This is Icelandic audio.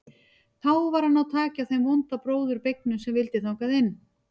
Þá var að ná taki á þeim vonda bróður beygnum sem vildi þangað inn.